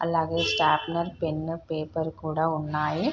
అలాగే sharpener pen paper కూడా ఉన్నాయి.